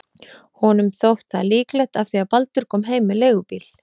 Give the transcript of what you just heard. Honum þótt það líklegt af því að Baldur kom heim með leigubíl.